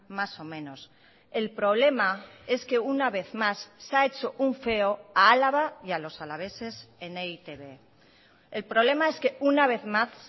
más o menos el problema es que una vez más se ha hecho un feo a álava y a los alaveses en e i te be el problema es que una vez más